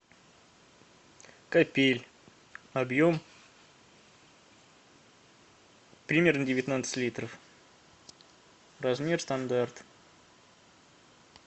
капель объем примерно девятнадцать литров размер стандарт